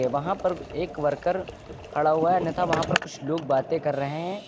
वहां पर एक वर्कर खड़ा हुआ है अन्यथा वहां पर कुछ लोग बातें कर रहे हैं।